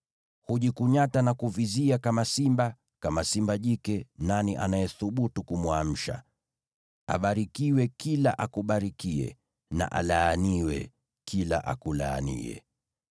Hujikunyata na kuvizia kama simba, kama simba jike; nani anayethubutu kumwamsha? “Abarikiwe kila akubarikiye, na alaaniwe kila akulaaniye!”